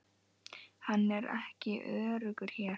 Hann er ekki öruggur hér